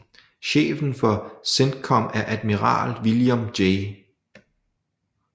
Chefen for CENTCOM er Admiral William J